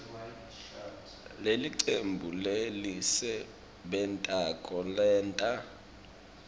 lelicembu lelisebentako lenta